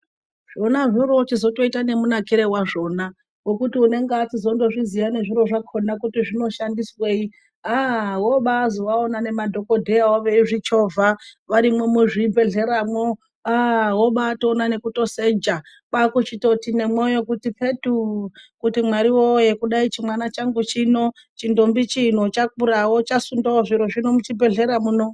Zvona zvoroochizotoita nemunakirewazvona ngokuti unenge achizondozviziya nezviro zvakona kuti zvinoshandiswei aaa wobazoaona nemadhokodheyayo veizvichovha varimwo muzvibhedhleramwo aaa wobatoona nekutoseja kwakuchitoti nemwoyo kuti petuu kuti Mwari woyee dai chimwana changu chino chintombi chino chakurawo chasundawo zviro zvino muchibhedhlera muno.